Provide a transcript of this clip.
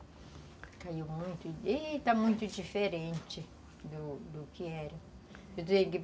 Caiu muito e está muito diferente do do que era.